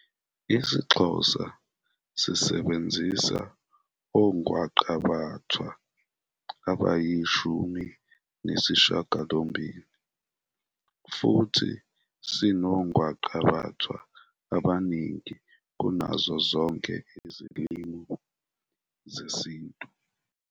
IsiXhosa sisebenzisa ongwaqabathwa abayishumi nesishiyagalombili futhi sinongwaqabathwa abaningi kunazo zonke izilimi zesiNtu.